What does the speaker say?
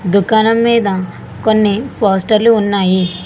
దుకాణం మీద కొన్ని పోస్టర్లు ఉన్నాయి.